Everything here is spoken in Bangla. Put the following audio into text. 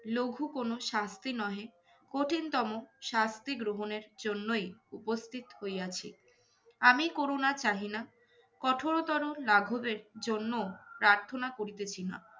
লঘু কোনো শাস্তি নহে, কঠিনতম শাস্তি গ্রহণের জন্যই উপস্থিত হইয়াছি। আমি করুণা চাহিনা। কঠোরতর লাঘবের জন্য প্রার্থনা করিতেছি না।